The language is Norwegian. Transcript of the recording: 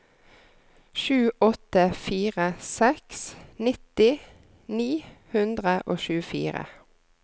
sju åtte fire seks nitti ni hundre og tjuefire